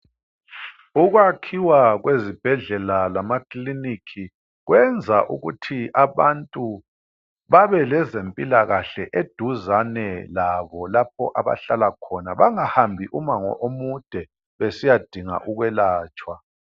Ukwakhiwa kwezibhedlela lamakilinika kwenza ukuthi abantu babeleze mpilakahle eduzane labo lapho abahlala khona bengahambi umango omude besiyadinga ukwelatshwa.